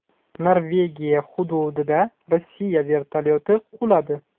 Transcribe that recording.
Norvegiya hududida Rossiya vertolyoti quladi.